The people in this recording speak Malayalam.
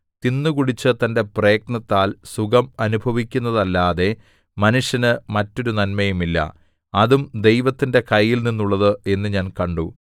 തിന്നുകുടിച്ച് തന്റെ പ്രയത്നത്താൽ സുഖം അനുഭവിക്കുന്നതല്ലാതെ മനുഷ്യന് മറ്റൊരു നന്മയുമില്ല അതും ദൈവത്തിന്റെ കയ്യിൽനിന്നുള്ളത് എന്നു ഞാൻ കണ്ടു